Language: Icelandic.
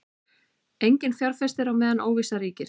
Enginn fjárfestir á meðan óvissa ríkir